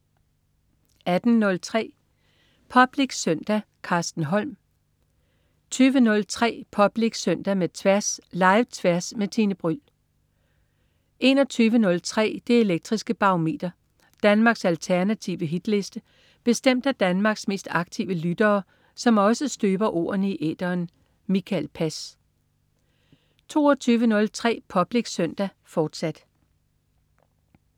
18.03 Public Søndag. Carsten Holm 20.03 Public Søndag med Tværs. Live-Tværs med Tine Bryld 21.03 Det elektriske Barometer. Danmarks alternative hitliste bestemt af Danmarks mest aktive lyttere, som også støber ordene i æteren. Mikael Pass 22.03 Public Søndag, fortsat